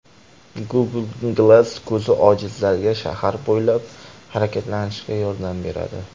Google Glass ko‘zi ojizlarga shahar bo‘ylab harakatlanishga yordam beradi.